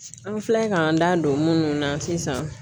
An filɛ k'an da don minnu na sisan